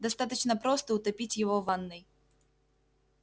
достаточно просто утопить его в ванной